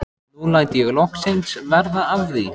Nú læt ég loksins verða af því.